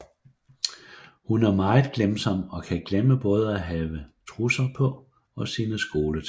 Hun er meget glemsom og kan glemme både at have trusser på og sine skoleting